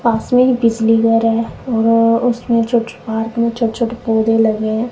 पास में बिजली घर है और उसमें छोटे छोटे पार्क में छोटे छोटे पौधे लगे हैं।